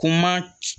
Kuma